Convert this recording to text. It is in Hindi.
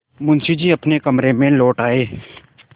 मुंशी जी अपने कमरे में लौट आये